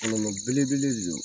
Kɔlɔlɔ belebele de don